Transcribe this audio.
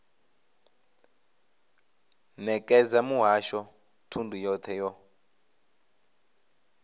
nekedza muhasho thundu yothe yo